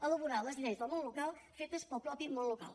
elaborar les lleis del món local fetes pel mateix món local